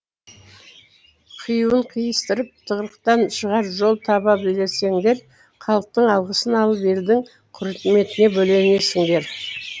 қиюын қиыстырып тығырықтан шығар жол таба білсеңдер халықтың алғысын алып елдің құрметіне бөленесіңдер